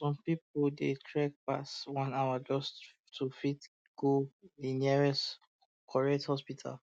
some people um dey trek um pass one hour just to fit go the nearest correct hospital